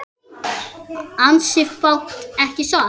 Ansi fátt ekki satt?